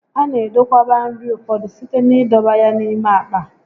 A na edokwaba nri ụfọdụ site n'idọba ya n'ime àkpà